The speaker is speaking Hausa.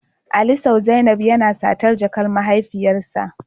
Ali Saw zainab yana satar jakar mahaifiyarsa